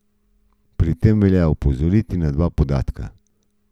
Pri tem velja opozoriti na dva podatka.